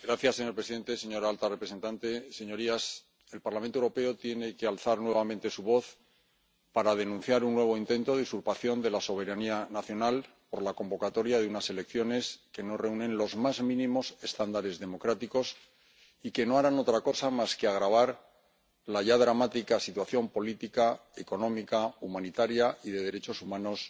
Señor presidente, señora alta representante, señorías, el Parlamento Europeo tiene que alzar nuevamente su voz para denunciar un nuevo intento de usurpación de la soberanía nacional por la convocatoria de unas elecciones que no reúnen los más mínimos estándares democráticos y que no harán otra cosa más que agravar la ya dramática situación política, económica, humanitaria y de derechos humanos